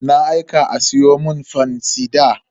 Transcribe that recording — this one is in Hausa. Na aika a siyo mun fansida.